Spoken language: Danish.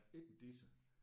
Ikke en disse